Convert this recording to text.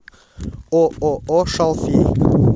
ооо шалфей